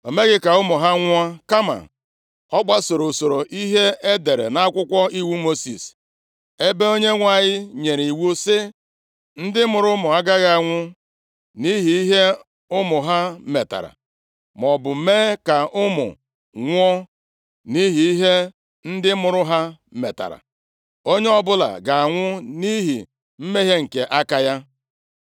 Ma o meghị ka ụmụ ha nwụọ, kama ọ gbasoro usoro ihe e dere nʼakwụkwọ iwu Mosis, ebe Onyenwe anyị nyere iwu sị: “Ndị mụrụ ụmụ agaghị anwụ nʼihi ihe ụmụ ha metara, maọbụ mee ka ụmụ nwụọ nʼihi ihe ndị mụrụ ha metara, onye ọbụla ga-anwụ nʼihi mmehie nke aka ya.”